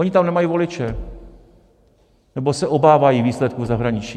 Oni tam nemají voliče, nebo se obávají výsledků zahraničí.